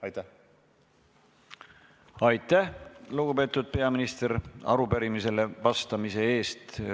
Aitäh, lugupeetud peaminister, arupärimisele vastamise eest!